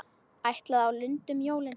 Ætlaði á Lund um jólin.